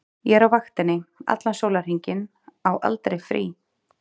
Ég er á vaktinni allan sólarhringinn, á aldrei frí.